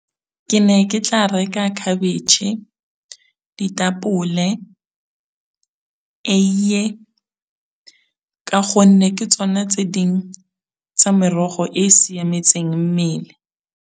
Ke ne ke tla reka khabetšhe, ditapole, eiye, ka gonne ke tsone tse ding tsa merogo e siametseng mmele.